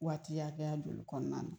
Waati hakɛya joli kɔnɔna na